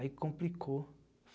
Aí complicou.